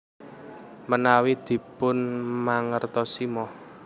Menawi dipunmangertosi Moh